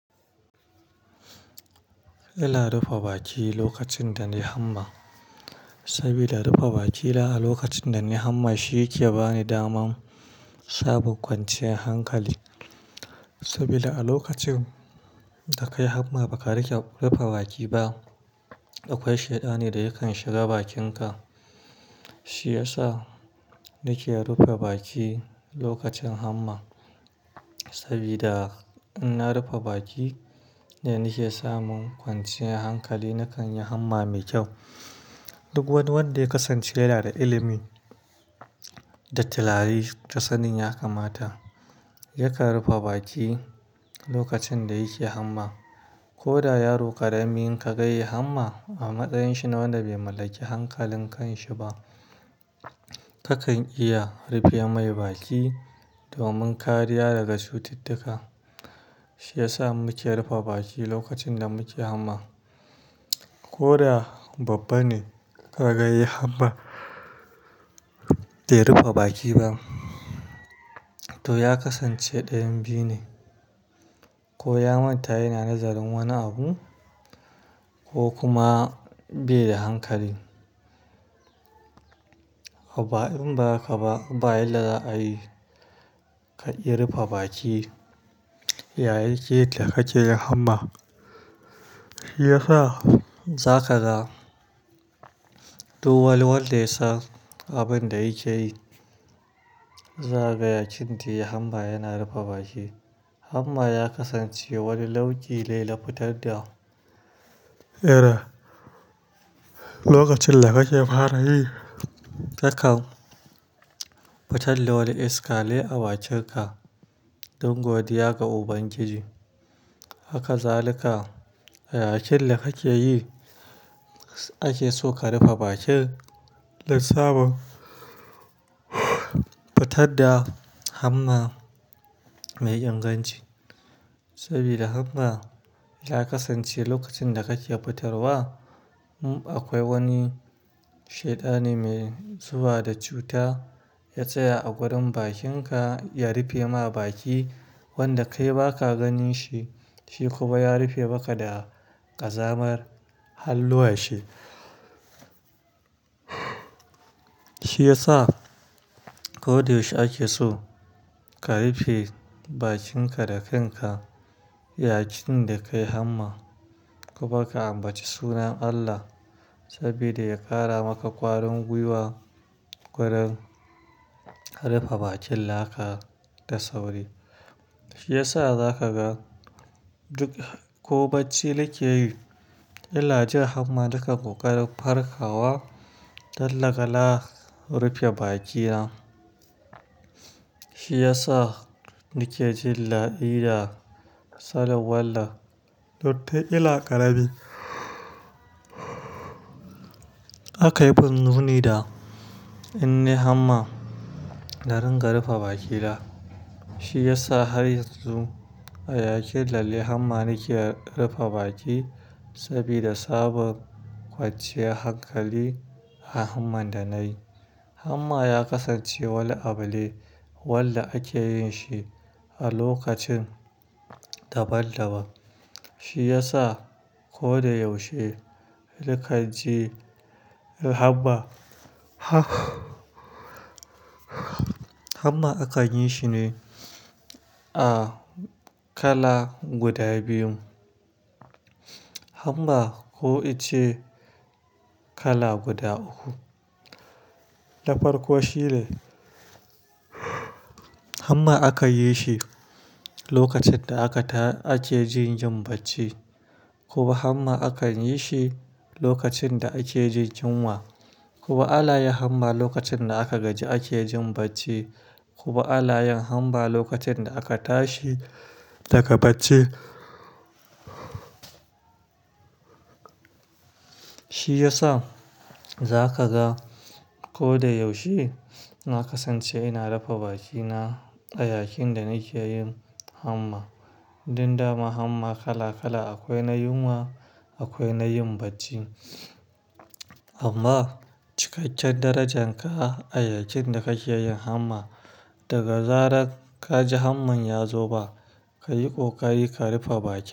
Ina rufe baki lokacin da na yi hamma, saboda rufe bakila a lokacin da na yi hamma shi yake bani daman saba kwanciyar hankali. Saboda a lokacin da ka yi hamma ba ka rike rufe baki ba, akwai shaida ne da yakan shiga bakinka. Shi ya sa nake rufe baki lokacin hamma. Sabida in na rufe baki, da nake samun kwanciyar hankali nakan yi hamma mai kyau. Duk wanda ya kasance yana da ilimi da tilari, ta tsanin ya kamata ya kar rufe baki lokacin da yake hamma. Koda yaro ƙarami in ka ga ya yi hamma a matsayin shi na wanda bai mallaki hankalin kan shi ba, kakan iya rufe mai baki domin kariya daga cututtuka. Shi ya sa muke rufe baki lokacin da muke hamma. Koda babba ne ka ga ya yi hamma bai rufe baki ba, to ya kasance ɗayan biyu ne: ko ya manta yana nazarin wani abu ko kuma bai da hankali. Inba hakaba ba inda za a yi, ka iya rufe baki yayin ke ka hake yi hamma. Shi ya sa za ka ga duk wanda ya san abin da yake yi, za ka yaƙin da hamma yana rufe baki. Hamma ya kasance wani launki ne na fitar da ƙera lokacin da kake fara yi. Kakan fitar da wani iska ne a bakinka don godiya ga Ubangiji. Haka zalika, a yakin da kake yi ake so ka rufe bakin don sabon fitar da hamma mai inganci. Saboda hamma ya kasance lokacin da kake fitarwa, akwai wani shaidanin mai zuba da cuta ya tsaya a wurin bakinka ya rufe ma baki wanda kai ba ka gani shi, shi kuma ya rufe maka da ƙazamar halluwa shi. Shi ya sa ko da yaushe ake so ka rufe bakinka da kanka yayakin da ka yi hamma. Kuma ka ambaci sunan Allah sabida ya ƙara maka ƙwarin gwiwa gurin ka rufe bakin laka da sauri. Shi ya sa za ka ga duk ko bacci da kake yi, illa jiya hamma da ka buƙari farka wa, dallaka la rufe bakina. Shi ya sa nake jin la'i da tsalle, walla, to, ta illa ƙarabi. Aka yi binni da in na yi hamma da ringa rufe bakila. Shi ya sa har yanzu a yakin lalle hamma nake rufe baki saboda sabon kwanciyar hankali a hamman da nayi. Hamma ya kasance wani abin da wanda ake yin shi a lokacin daban-daban. Shi ya sa ko da yaushe naka ji hamma. Hamma akan yi shi ne a kala guda biyun. Hamma ko ice kala guda uku. Ta farkon shi ne hamma aka yi shi lokacin da aka ta-- ake jin yin bacci, kuma hamma akan yi shi lokacin da ake jin yunwa. Kuma alyan hamma lokacin da aka gaji ake jin bacci, kuma alayan hamma lokacin da aka tashi daga bacci. Shi ya sa za ka ga ko da yaushe na kasance ina rufe bakina a yakin da nake yin hamma. Don dama hamma kala kala akwai na yunwa akwai na yin bacci. Amma cikakken darajarka a yakin da kake yin hamma, daga zarar ka ji hamman ya zo ba, ka yi ƙoƙari ka rufe baki.